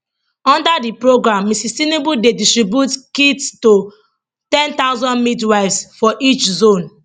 under di programme mrs tinubu dey distribute kits to 10000 midwives for each zone